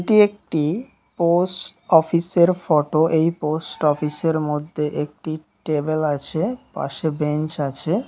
এটি একটি পোস্ট অফিসের ফটো | এই পোস্ট অফিসের মধ্যে একটি টেবিল আছে পাশে বেঞ্চ আছে।